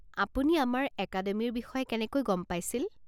আপুনি আমাৰ একাডেমিৰ বিষয়ে কেনেকৈ গম পাইছিল।